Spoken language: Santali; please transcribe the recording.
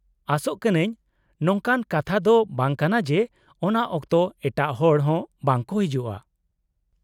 -ᱟᱥᱚᱜ ᱠᱟᱹᱱᱟᱹᱧ ᱾ ᱱᱚᱝᱠᱟᱱ ᱠᱟᱛᱷᱟ ᱫᱚ ᱵᱟᱝ ᱠᱟᱱᱟ ᱡᱮ ᱚᱱᱟ ᱚᱠᱛᱚ ᱮᱴᱟᱜ ᱦᱚᱲ ᱦᱚᱸ ᱵᱟᱝ ᱠᱚ ᱦᱮᱡᱩᱜᱼᱟ ᱾